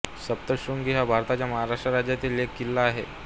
सप्तशृंगी हा भारताच्या महाराष्ट्र राज्यातील एक किल्ला आहे